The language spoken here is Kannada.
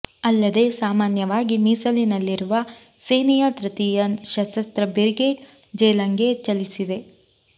ಅಲ್ಲದೆ ಸಾಮಾನ್ಯವಾಗಿ ಮೀಸಲಿನಲ್ಲಿರುವ ಸೇನೆಯ ತೃತೀಯ ಸಶಸ್ತ್ರ ಬ್ರಿಗೇಡ್ ಜೇಲಂಗೆ ಚಲಿಸಿದೆ